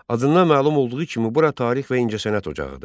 Adından məlum olduğu kimi bura tarix və incəsənət ocağıdır.